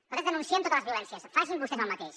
nosaltres denunciem totes les violències facin vostès els mateix